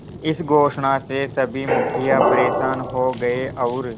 इस घोषणा से सभी मुखिया परेशान हो गए और